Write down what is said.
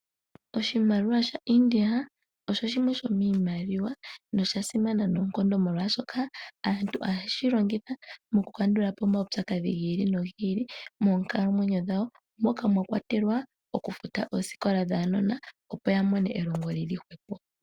Oshimaliwa shaInda osho shimwe shomiimaliwa, no sha simana noonkondo molwaashoka aantu ohaye shi longitha mo ku kandula po omaupyakadhi gi ili nogi ili moonkalamwenyo dhawo, moka mwa kwatelwa okufuta oosikola dhaanona opo ya mone elongo lili hwepo.